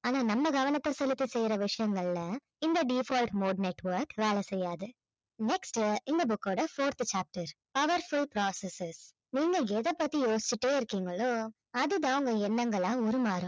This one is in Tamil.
ஆனால் நம்ம கவனத்தை செலுத்த செய்யற விஷயங்கள்ல இந்த default mode network வேலை செய்யாது next இந்த book ஓட fourth chapter power save processes நீங்க எதை பத்தி யோசிச்சிட்டே இருக்கீங்களோ அது தான் உங்க எண்ணங்களா உருமாறும்